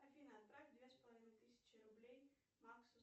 афина отправь две с половиной тысячи рублей максу